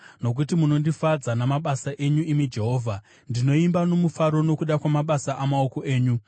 Nokuti munondifadza namabasa enyu, imi Jehovha; ndinoimba nomufaro nokuda kwamabasa amaoko enyu.